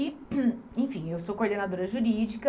E enfim, eu sou coordenadora jurídica.